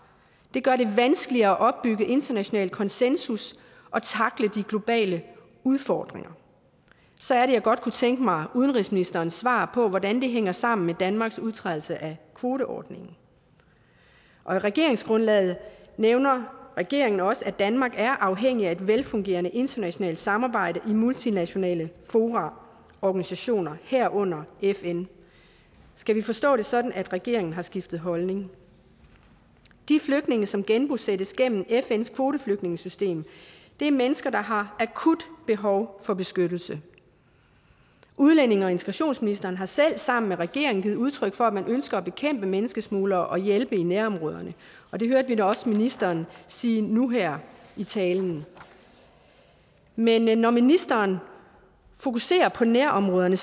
det gør det vanskeligere at opbygge international konsensus og tackle de globale udfordringer så er det jeg godt kunne tænke mig udenrigsministerens svar på hvordan det hænger sammen med danmarks udtrædelse af kvoteordningen og i regeringsgrundlaget nævner regeringen også at danmark er afhængig af et velfungerende internationalt samarbejde i multinationale fora og organisationer herunder fn skal vi forstå det sådan at regeringen har skiftet holdning de flygtninge som genbosættes gennem fns kvoteflygtningesystem er mennesker der har akut behov for beskyttelse udlændinge og integrationsministeren har selv sammen med regeringen givet udtryk for at man ønsker at bekæmpe menneskesmuglere og hjælpe i nærområderne og det hørte vi da også ministeren sige nu her i talen men men når ministeren fokuserer på nærområderne